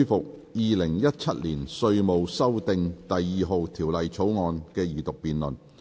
本會現在恢復《2017年稅務條例草案》的二讀辯論。